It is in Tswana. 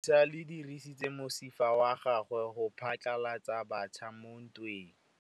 Lepodisa le dirisitse mosifa wa gagwe go phatlalatsa batšha mo ntweng.